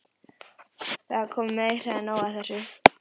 Það er komið meira en nóg af þessu!